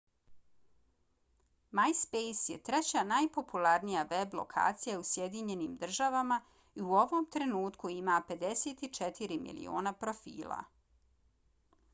myspace je treća najpopularnija web lokacija u sjedinjenim državama i u ovom trenutku ima 54 miliona profila